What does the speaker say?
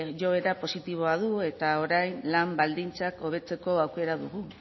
joera positiboa du eta orain lan baldintzak hobetzeko aukera dugu